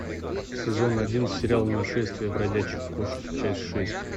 сезон один сериал нашествие бродячих кошек часть шесть